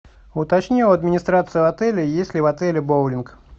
уточни у администрации отеля есть ли в отеле боулинг